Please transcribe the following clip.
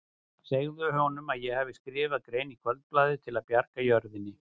Segðu honum að ég hafi skrifað grein í Kvöldblaðið til að bjarga jörðinni.